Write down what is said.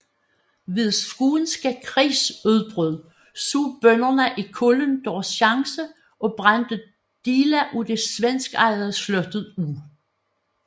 Ved Skånske Krigs udbrud så bønderne i Kullen deres chance og brændte dele af det svenskejede slot af